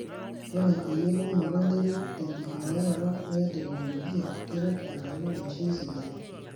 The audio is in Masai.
Ore eyiolounoto enterit tenkitumiaroto e teknolojia keret agelu eishoi sidai.